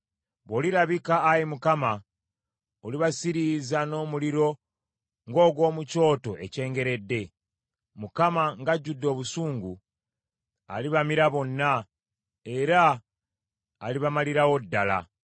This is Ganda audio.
Bw’olirabika, Ayi Mukama , olibasiriiza n’omuliro ng’ogw’omu kyoto ekyengeredde. Mukama , ng’ajjudde obusungu, alibamira bonna, era alibamalirawo ddala.